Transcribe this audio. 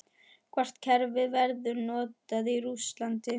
Hvort kerfið verður notað í Rússlandi?